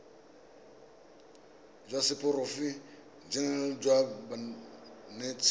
jwa seporofe enale jwa banetshi